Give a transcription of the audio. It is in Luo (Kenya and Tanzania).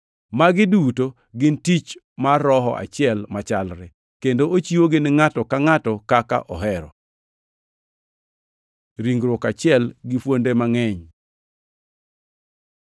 Magi duto gin tich mar Roho achiel machalre, kendo ochiwogi ni ngʼato ka ngʼato kaka ohero. Ringruok achiel gi fuonde mangʼeny